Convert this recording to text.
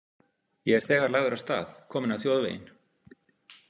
Ég er þegar lagður af stað, kominn á þjóðveginn.